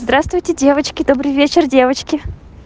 здравствуйте девочки добрый вечер девочки